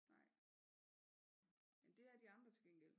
Nej men det er de andre til gengæld